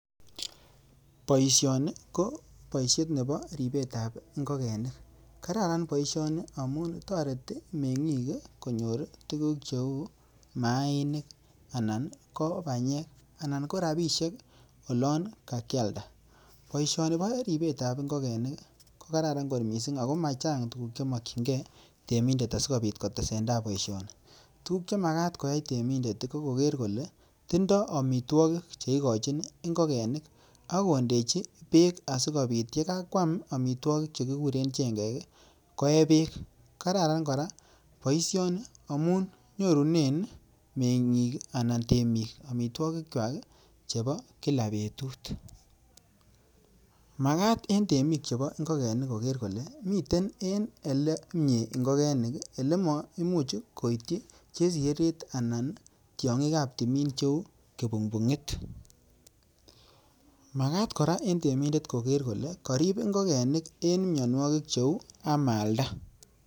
Boisioni koboisiet nebo ribetab ngokenik. Kararn boisioni amun toreti meng'ik konyor tuguk cheu maanik anan ko banyek anan ko rabishek olon ka kialda. Boisioni boribetab ingokenik koraran kot mising ago machang tuguk che mokinge temindet asikobit kotesentai boisioni. Tuguk che magat koyai temindet ko kogeer kole tindo amitwogik che igochin ingokenik ak kondechi beek asikobit ye kakwam maitwogik che kiguren chengek koe beek. Kararan kora boisioni amun nyorunen meng'ik anan temik amitwogik kywak chebo kila betut. Magat en temik chebo ngekenik koger kole miten en ele myee ngokenik, ole maimuch koityi chesireret anan tiong'ik ab timin cheu kipungpung'it. Magat kora en temindet koger kole korib ingokenik en mianwogik cheu amalda.